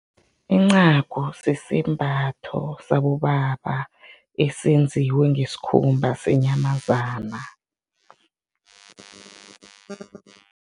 Incagu sisembatho sabobaba esenziwe ngesikhumba senyamazana.